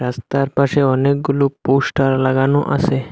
রাস্তার পাশে অনেকগুলো পোস্টার লাগানো আসে।